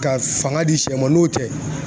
Ka fanga di sɛ ma n'o tɛ